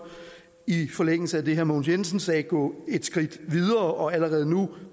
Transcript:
i forlængelse af det herre mogens jensen sagde gå et skridt videre og allerede nu